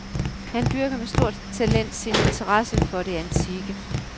Han dyrker med stort talent sin interesse for det antikke.